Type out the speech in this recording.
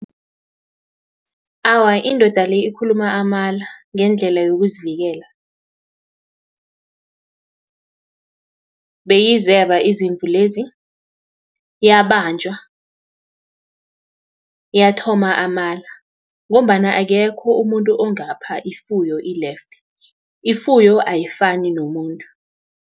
Awa, indoda le, ikhuluma amala, ngendlela yokuzivikela, beyizeba izimvu lezi, yabanjwa. Yathoma amala, ngombana akekho umuntu ongapha ifuyo i-lefte, ifuyo ayifani nomuntu.